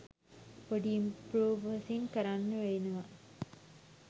පොඩි ඉම්ප්‍රොවසින් කරන්න වෙනවා